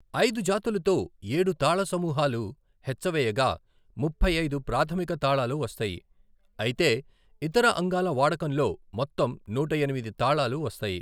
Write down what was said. ఐదు జాతులతో ఏడు తాళ సమూహాలు హెచ్చవేయగా, ముప్పై ఐదు ప్రాథమిక తాళాలు వస్తాయి, అయితే, ఇతర అంగాల వాడకంతో మొత్తం నూట ఎనిమిది తాళాలు వస్తాయి.